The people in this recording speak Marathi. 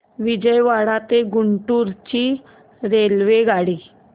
विजयवाडा ते गुंटूर ची रेल्वेगाडी